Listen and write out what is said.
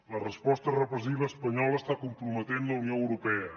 la resposta repressiva espanyola està comprometent la unió europea